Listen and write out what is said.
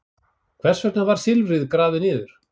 Hvers vegna var silfrið grafið niður?